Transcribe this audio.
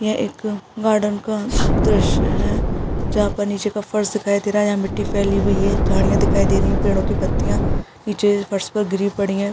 यह एक गार्डन का दॄश्य है जहाँ पर नीचे का फर्श दिखाई दे रहा है। यहाँ मिट्टी फैली हुई है झाड़ियां दिखाई दे रही हैं पेड़ो की पत्तियां नीचे फर्श पर गिरी पड़ी हैं।